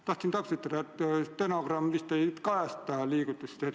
Tahan täpsustada, et stenogramm vist ei kajasta liigutusi.